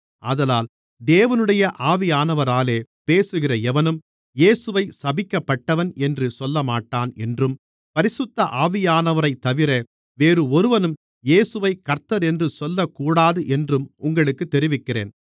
ஆதலால் தேவனுடைய ஆவியானவராலே பேசுகிற எவனும் இயேசுவைச் சபிக்கப்பட்டவன் என்று சொல்லமாட்டான் என்றும் பரிசுத்த ஆவியானவரைத்தவிர வேறு ஒருவனும் இயேசுவைக் கர்த்தரென்று சொல்லக்கூடாதென்றும் உங்களுக்குத் தெரிவிக்கிறேன்